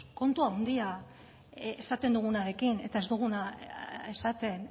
kontu handian esaten dugunarekin eta ez duguna esaten